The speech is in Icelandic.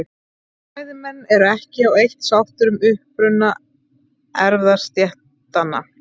Fræðimenn eru ekki á eitt sáttir um uppruna erfðastéttanna.